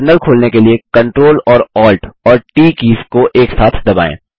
terminal खोलने के लिए CTRL और ALT और ट बटनों को एक साथ दबाएँ